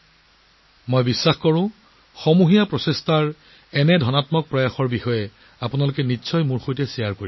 মোৰ বিশ্বাস যে আপোনালোকে মোৰ লগত এনে ইচিবাচক প্ৰচেষ্টাৰ বিষয়ে শ্বেয়াৰ কৰি থাকিব